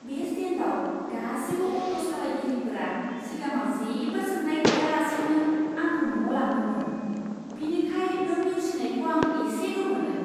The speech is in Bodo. बे स्टेन्डआव गासिबो अट' सालायगिरिफोरा सिगाङाव जेबो सोंनाय गैयालासेनो आंखौ न'आव लांदोंमोन, बिनिखाय नों नेवसिनायखौ आं एसे गोमोदों।